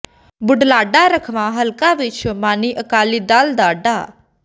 ਬੁਢਲਾਡਾ ਰਾਖਵਾਂ ਹਲਕਾ ਵਿਚ ਸ਼ੋ੍ਰਮਣੀ ਅਕਾਲੀ ਦਲ ਦੇ ਡਾ